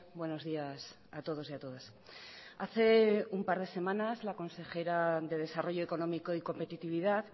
buenos días a todos y a todas hace un par de semanas la consejera de desarrollo económico y competitividad